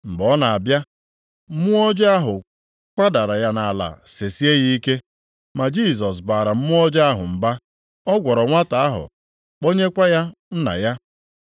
Mgbe ọ na-abịa, mmụọ ọjọọ ahụ kwadara ya nʼala sesie ya ike, ma Jisọs baara mmụọ ọjọọ ahụ mba. Ọ gwọrọ nwata ahụ kpọnyekwa ya nna ya.